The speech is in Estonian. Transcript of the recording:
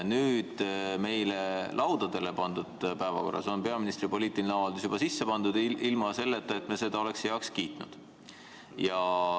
Nüüd meie laudadele pandud päevakorda on peaministri poliitiline avaldus juba sisse pandud, ilma selleta, et me oleks seda heaks kiitnud.